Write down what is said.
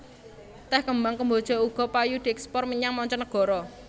Tèh kembang kemboja uga payu dièkspor menyang manca negara